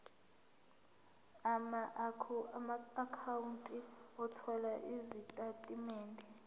amaakhawunti othola izitatimende